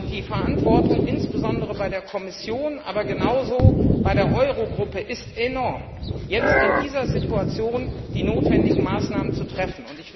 Die Verantwortung insbesondere bei der Kommission, aber genauso bei der Eurogruppe ist enorm, jetzt in dieser Situation die notwendigen Maßnahmen zu treffen.